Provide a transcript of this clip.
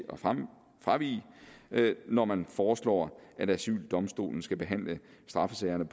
fravige når man foreslår at asyldomstolen skal behandle straffesagerne